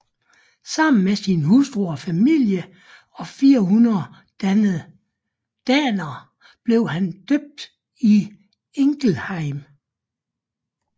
Sammen med sin hustru og familie og 400 daner blev han døbt i Ingelheim